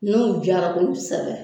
N'o jara kosɛbɛ